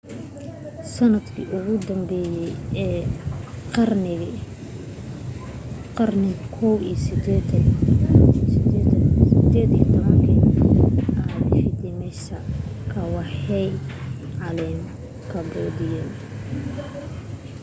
sanadkii ugu danbeye ee qarnigii 18aad vietnamese-ka waxa ay galeen cambodia